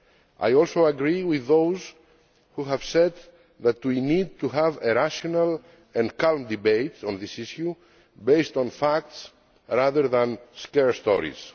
I also agree with those who have said that we need to have a rational and calm debate on this issue based on facts rather than scare stories.